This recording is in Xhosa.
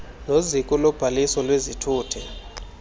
neziko lobhaliso lwezithuthi